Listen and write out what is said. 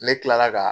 Ne kilala ka